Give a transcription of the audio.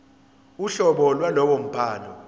uhlobo lwalowo mbhalo